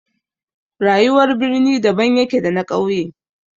Rayuwar birni daban yake da na ƙauye.